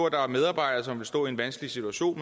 at der er medarbejdere som vil stå i en vanskelig situation